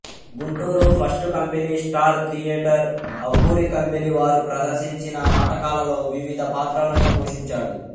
Guntur first company star theatre Abburi company వారు ప్రదర్శించిన నాటకాలలో వివిధ పాత్రలను పోషించాడు